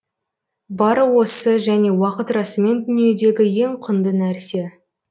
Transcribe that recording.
бары осы және уақыт расымен дүниедегі ең құнды нәрсе